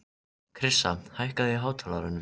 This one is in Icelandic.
Krissa, hækkaðu í hátalaranum.